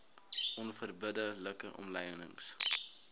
onverbidde like omlynings